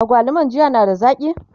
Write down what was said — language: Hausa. agwaluman jiya na da zaki?